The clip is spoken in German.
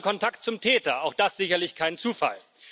Er hatte Kontakt zum Täter, auch das ist sicherlich kein Zufall.